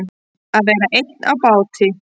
Að vera einn á báti